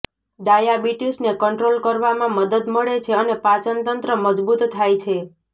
ડાયાબિટીસને control કરવામાં મદદ મળે છે અને પાચનતંત્ર મજબૂત થાય છે